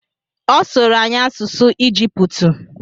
Ọ sụrụ anyị asụsụ Ijiputu